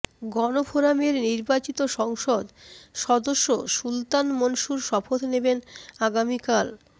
গণফোরামের নির্বাচিত সংসদ সদস্য সুলতান মনসুর শপথ নেবেন আগামীকাল